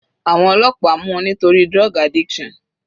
Àwọn ọlọ́pàá mú u nítorí drug addiction.